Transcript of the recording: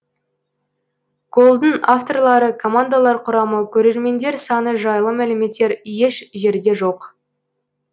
голдың авторлары командалар құрамы көрермендер саны жайлы мәліметтер еш жерде жоқ